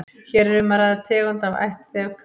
hér er um að ræða tegund af ætt þefkatta